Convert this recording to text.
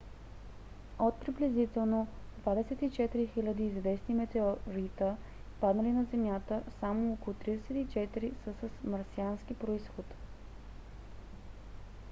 от приблизително 24 000 известни метеорита паднали на земята само около 34 са с марсиански произход